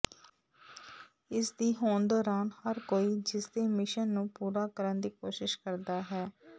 ਇਸ ਦੀ ਹੋਂਦ ਦੌਰਾਨ ਹਰ ਕੋਈ ਇਸਦੇ ਮਿਸ਼ਨ ਨੂੰ ਪੂਰਾ ਕਰਨ ਦੀ ਕੋਸ਼ਿਸ਼ ਕਰਦਾ ਹੈ